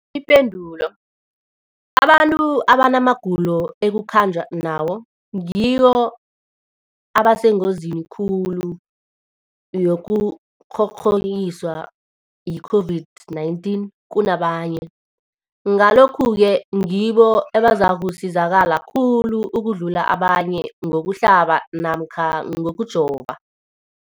Ipendulo, abantu abanamagulo ekukhanjwa nawo ngibo abasengozini khulu yokukghokghiswa yi-COVID-19 kunabanye, Ngalokhu-ke ngibo abazakusizakala khulu ukudlula abanye ngokuhlaba namkha ngokujova.